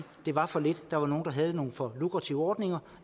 det var for lidt der var nogle der havde nogle for lukrative ordninger